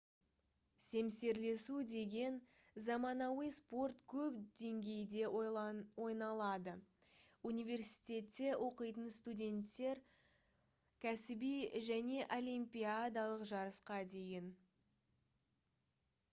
семсерлесу деген заманауи спорт көп деңгейде ойналады университетте оқитын студенттерден кәсіби және олимпиадалық жарысқа дейін